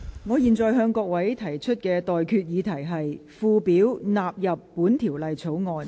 我現在向各位提出的待決議題是：附表納入本條例草案。